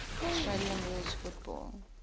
australian rules football